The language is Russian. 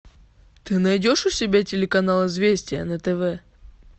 ты найдешь у себя телеканал известия на тв